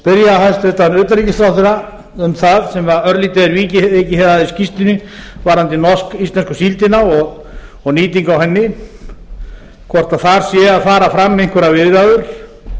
spyrja hæstvirtan utanríkisráðherra um það sem örlítið er vikið hér að í skýrslunni varðandi norsk íslensku síldina og nýtingu á henni hvort þar séu að fara fram einhverjar viðræður